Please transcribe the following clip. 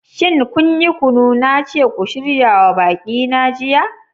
Shin kun yi kunu na ce ku shirya wa baƙi na jiya?